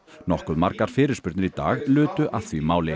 nokkuð margar fyrirspurnir í dag lutu að því máli